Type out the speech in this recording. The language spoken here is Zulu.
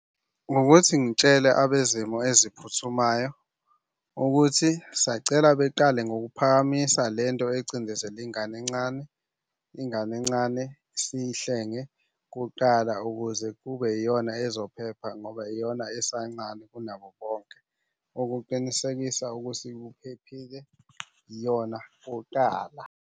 Ngokuthi ngitshele abezimo eziphuthumayo ukuthi sacela beqale ngokuphakamisa le nto ecindezela ingane encane. Ingane encane siyihlenge kuqala ukuze kube yiyona ezophepha ngoba iyona esancane kunabo bonke. Ukuqinisekisa ukuthi iphephile iyona kuqala.